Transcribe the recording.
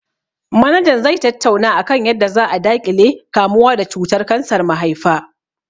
Manaja zai tattauna akan yadda za a daƙile kamuwa da cutar kansar mahaifa